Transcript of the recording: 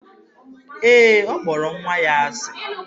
Ee, ọ kpọrọ nwa ya asị.